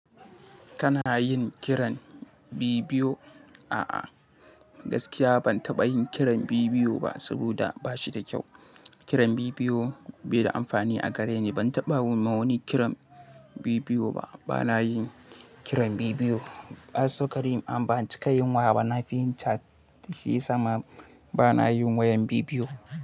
Kana yin kiran bidiyo? A'a, gaskiya ban taɓa yin kiran bibiyo ba saboda ba shi da kyau. Kiran bidiyo bai da amfani a gare ni. Ban taɓa ma wani kiran bidiyo ba. Bana yin kiran bidiyo. Asokarin an baci ka yinwa bana fin chat shi ya sa ma bana yin wayan bibiyo.